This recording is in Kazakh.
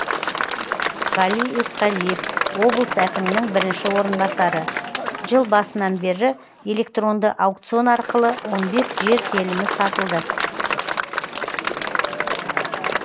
ғали есқалиев облыс әкімінің бірінші орынбасары жыл басынан бері электронды аукцион арқылы он бес жер телімі сатылды